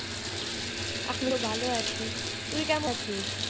এখন তো ভালো আছি, তুই কেমন আছিস?